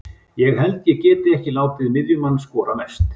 Ég held ég geti ekki látið miðjumann skora mest.